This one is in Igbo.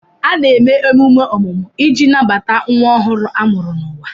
A na-eme emume ọmụmụ iji nabata nwa ọhụrụ a mụrụ n'ụwa.